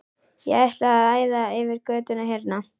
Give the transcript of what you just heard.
Og ætlar að æða yfir götuna hérna!